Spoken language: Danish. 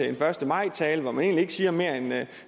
en første maj tale hvor man egentlig ikke siger mere